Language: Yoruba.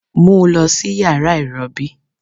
Mu u lọ si yara irọbi